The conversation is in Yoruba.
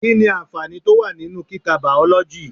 Kí ni àǹfààní tó wà nínú kika Bàọ́lọ́jì?